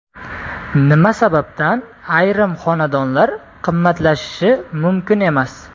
Nima sababdan ayrim xonadonlar qimmatlashishi mumkin emas.